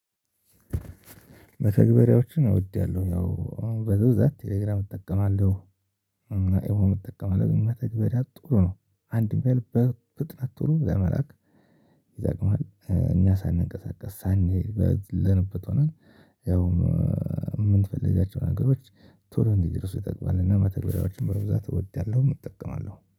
መተግበሪያዎችን እወዳለሁ ያው በብዛት ቴሌግራም እጠቀማለሁ። እና ኢሞም እጠቀማለው እና ከዚህ በታች ጥሩ ነው አንድም ያለ በፍጥነት ጥሩ ለመላክ ይጠቅምሃል። እኛ ሳንቀሳቀስ ሳንሄድ ባለንበት ሆነን ያው የምንፈልጋቸው ነገሮች ቶሎ እንዲደርሱ ይጠቅማል። እና መተግበሪያዎች መብዛት እወዳለሁም እጠቀማለሁም